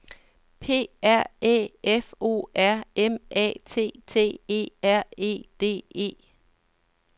P R Æ F O R M A T T E R E D E